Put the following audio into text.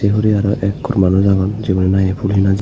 say huray ak kur manus agon jegun na he ful hena jeyoun.